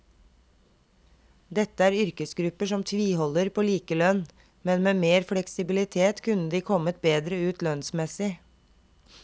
Dette er yrkesgrupper som tviholder på likelønn, men med mer fleksibilitet kunne de kommet bedre ut lønnsmessig.